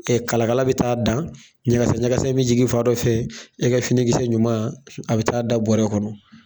kalakala bɛ taa'a dan, ɲɛgɛsɛ ɲɛgɛsɛ be jigi fa dɔ fɛ, e ka fini kisɛ ɲuman a bɛ taa da bɔrɛ kɔnɔ.